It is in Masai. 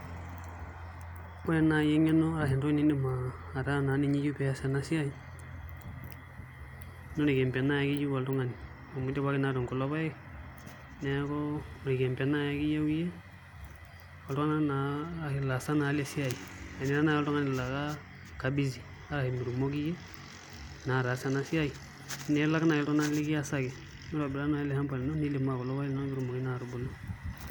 Ore naai eng'eno ashu entoki niata pee iyiolou ataasa ena siai naa orkembe naai ake eyiu oltung'ani amu idipaki naa atuun kulo paek neeku orkembe naai ake eyiu iyie oltung'anak naa ashu ilaasak lesiai enira naai oltung'ani laa kabusy metaa mitumoki iyie naa ataasa ena siai nilak naai iltunganak likiasaki mitobira naa ele shamba lino.